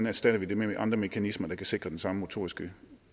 erstatter det med andre mekanismer der kan sikre den samme motoriske